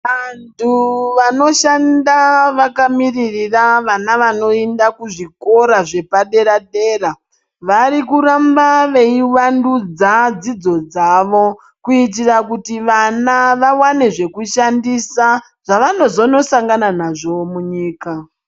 Antu vanoshanda vakamiririra vana vanoinda kuzvikora zvepadera-dera, varikuramba veiwandudza dzidzo dzawo kuitira kuti vana vawane zvekushandisa zvavanozonosangana nazvo munyika.